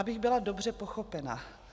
Abych byla dobře pochopena.